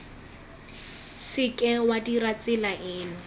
seke wa dirisa tsela eno